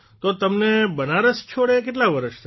તો તમને બનારસ છોડ્યે કેટલા વર્ષ થયાં